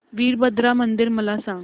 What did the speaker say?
वीरभद्रा मंदिर मला सांग